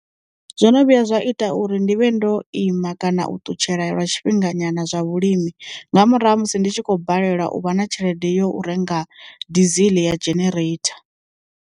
Zwo no vhuya zwa ita uri ndivhe ndo ima kana u ṱutshela lwa tshifhinga nyana zwa vhulimi nga murahu ha musi ndi tshi khou balelwa u vha na tshelede yo renga dizili ya genereitha.